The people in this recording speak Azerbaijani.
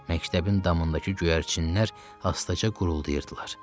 Məktəbin damındakı göyərçinlər asta-asta qurgulayırdılar.